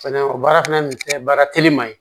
Fɛnɛ o baara fana nin kɛ baara teliman ye